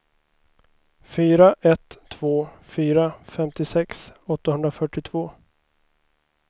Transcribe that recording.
fyra ett två fyra femtiosex åttahundrafyrtiotvå